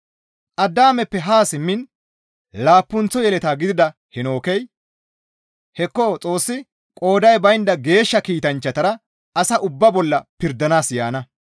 Addaameppe haa simmiin laappunththo yeleta gidida Heenookey, «Hekko Xoossi qooday baynda geeshsha kiitanchchatara asa ubbaa bolla pirdanaas yaana.